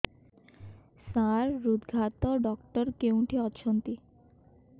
ସାର ହୃଦଘାତ ଡକ୍ଟର କେଉଁଠି ଅଛନ୍ତି